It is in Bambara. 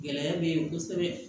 Gɛlɛya bɛ yen kosɛbɛ